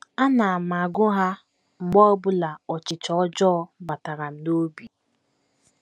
Ana m agụ ha mgbe ọ bụla ọchịchọ ọjọọ batara m n’obi. ”